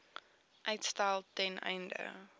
uitstel ten einde